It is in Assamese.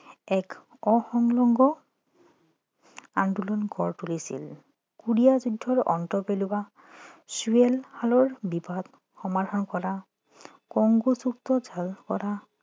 এক অসংলগ্ন আন্দোলন গঢ়ি তুলিছিল কোৰিয়া যুদ্ধ অন্ত পেলোৱা ছুৱেজ খালৰ বিবাদ সমাধান কৰা কংগো যুদ্ধ help কৰা